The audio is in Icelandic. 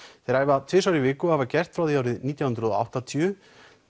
þeir æfa tvisvar í viku og hafa gert frá því árið nítján hundruð og áttatíu